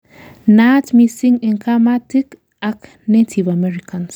naat missing en kamatik ak native Americans